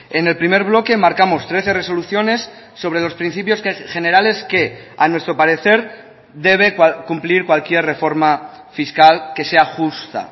en el primer bloque marcamos trece resoluciones sobre los principios generales que a nuestro parecer debe cumplir cualquier reforma fiscal que sea justa